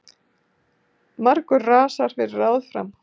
Margur rasar fyrir ráð fram.